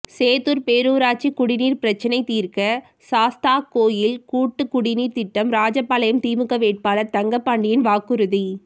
சேத்தூர் பேரூராட்சி குடிநீர் பிரச்னை தீர்க்க சாஸ்தாகோவில் கூட்டுக்குடிநீர் திட்டம் ராஜபாளையம் திமுக வேட்பாளர் தங்கப்பாண்டியன் வாக்குறுதி